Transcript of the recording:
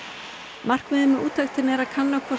markmiðið með úttektinni er að kanna hvort